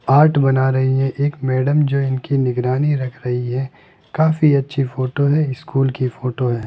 Art बना रही हैं एक मैडम जो इनकी निगरानी रख रही है काफी अच्छी फोटो है स्कूल की फोटो है।